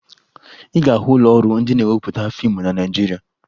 Ị ga-ahụ ụlọọrụ ndị na-ewepụta fiimu na Naịjirịa